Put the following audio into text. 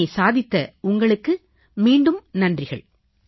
இதனை சாதித்த உங்களுக்கு மீண்டும் நன்றிகள்